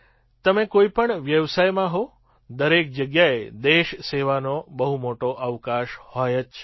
તમે કોઈ પણ વ્યવસાયમાં હો દરેક જગ્યાએ દેશ સેવાનો બહુ મોટો અવકાશ હોય જ છે